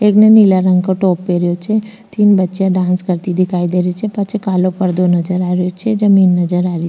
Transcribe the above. एक ने नीला रंग को टॉप पहरियो छे तीन बच्चिया डांस करती दिखाई दे रही छे पाछे कालो पर्दो नजर आ रहियो छे जमींन नजर आ रही।